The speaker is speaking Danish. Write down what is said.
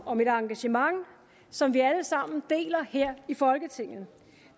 om et engagement som vi alle sammen deler her i folketinget